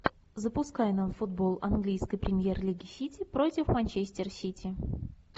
запускай нам футбол английской премьер лиги сити против манчестер сити